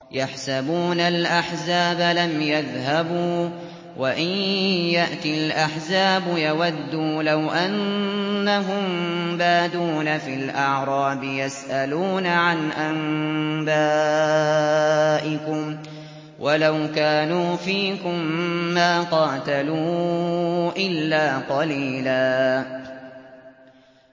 يَحْسَبُونَ الْأَحْزَابَ لَمْ يَذْهَبُوا ۖ وَإِن يَأْتِ الْأَحْزَابُ يَوَدُّوا لَوْ أَنَّهُم بَادُونَ فِي الْأَعْرَابِ يَسْأَلُونَ عَنْ أَنبَائِكُمْ ۖ وَلَوْ كَانُوا فِيكُم مَّا قَاتَلُوا إِلَّا قَلِيلًا